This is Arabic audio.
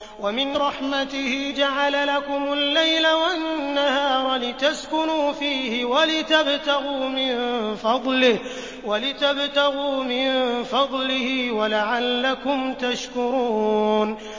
وَمِن رَّحْمَتِهِ جَعَلَ لَكُمُ اللَّيْلَ وَالنَّهَارَ لِتَسْكُنُوا فِيهِ وَلِتَبْتَغُوا مِن فَضْلِهِ وَلَعَلَّكُمْ تَشْكُرُونَ